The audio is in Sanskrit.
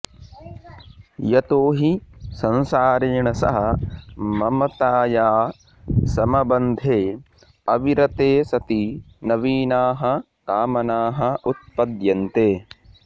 यतो हि संसारेण सह ममताया समबन्धे अविरते सति नवीनाः कामनाः उत्पद्यन्ते